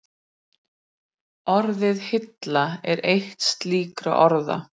Orðið hilla er eitt slíkra orða.